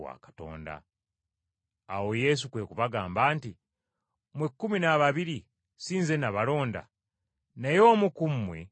Awo Yesu kwe kubagamba nti, “Mmwe ekkumi n’ababiri si nze nabalonda? Naye omu ku mmwe Setaani!”